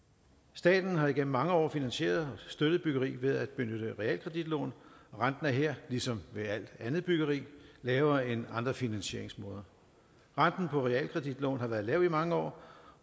staten har igennem mange år finansieret og støttet byggeri ved at benytte realkreditlån og renten er her ligesom ved alt andet byggeri lavere end andre finansieringsmåder renten på realkreditlån har været lav i mange år